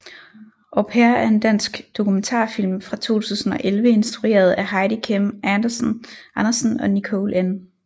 Au pair er en dansk dokumentarfilm fra 2011 instrueret af Heidi Kim Andersen og Nicole N